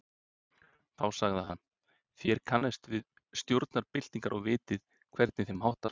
Þá sagði hann. þér kannist við stjórnarbyltingar og vitið, hvernig þeim háttar.